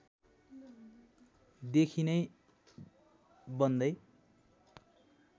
देखि नै बन्दै